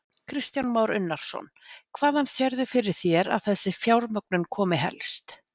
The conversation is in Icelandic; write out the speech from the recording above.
Kristján Már Unnarsson: Hvaðan sérðu fyrir þér að þessi fjármögnun komi helst?